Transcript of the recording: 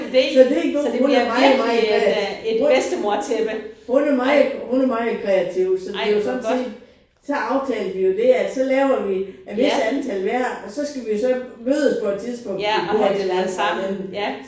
Så det en god hun er meget meget kreativ hun hun er meget hun er meget kreativ så det jo sådan set så aftalte vi jo det at så laver vi et vist antal hver og så skal så vi mødes på et tidspunkt og have det fra hinanden